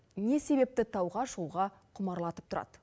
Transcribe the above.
не себепті тауға шығуға құмарлатып тұрады